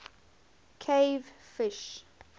cave fish